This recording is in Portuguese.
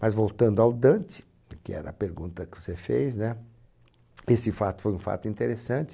Mas voltando ao Dante, que era a pergunta que você fez, né? Esse fato foi um fato interessante.